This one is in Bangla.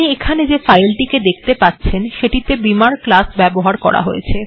আপনি এখানে যে ফাইল্ টিকে দেখতে পাচ্ছেন সেটিতে বিমার্ ক্লাস ব্যবহার করা হয়েছে